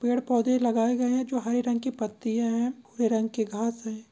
पेड़-पौधे लगाए गए हैं जो हरे रंग की पत्तियाँ हैं भूरे रंग के घास हैं।